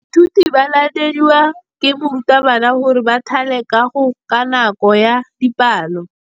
Baithuti ba laeditswe ke morutabana gore ba thale kagô ka nako ya dipalô.